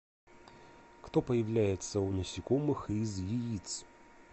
кто появляется у насекомых из яиц